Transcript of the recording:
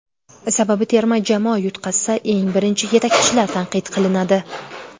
Sababi terma jamoa yutqazsa, eng birinchi yetakchilar tanqid qilinadi.